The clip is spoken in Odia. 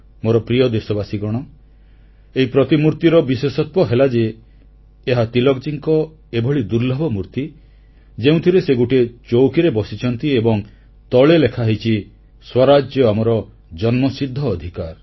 ମୋର ପ୍ରିୟ ଦେଶବାସୀଗଣ ଏହି ପ୍ରତିମୂର୍ତିର ବିଶେଷତ୍ୱ ହେଲା ଯେ ଏହା ତିଳକଜୀଙ୍କର ଏଭଳି ଦୁର୍ଲଭ ମୂର୍ତି ଯେଉଁଥିରେ ସେ ଗୋଟିଏ ଚୌକିରେ ବସିଛନ୍ତି ଏବଂ ତଳେ ଲେଖା ହୋଇଛି ସ୍ୱରାଜ୍ୟ ଆମର ଜନ୍ମଗତ ଅଧିକାର